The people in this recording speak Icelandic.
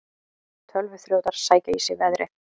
Tölvuþrjótar sækja í sig veðrið